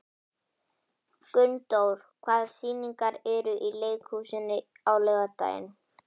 Gunndór, hvaða sýningar eru í leikhúsinu á laugardaginn?